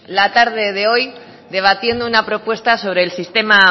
la tarde de hoy debatiendo una propuesta sobre el sistema